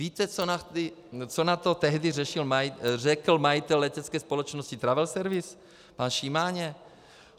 Víte, co na to tehdy řekl majitel letecké společnosti Travel Service pan Šimáně?